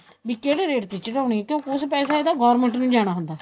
ਵੀ ਕਿਹੜੇ ਰੇਟ ਤੇ ਚੜਾਉਣੀ ਕਿਉਂ ਕੁੱਛ ਪੈਸਾ ਇਹਦਾ government ਨੂੰ ਜਾਣਾ ਹੁੰਦਾ